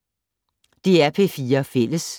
DR P4 Fælles